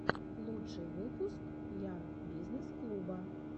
лучший выпуск ян бизнесс клуба